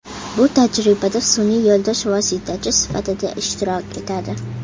Bu tajribada sun’iy yo‘ldosh vositachi sifatida ishtirok etadi.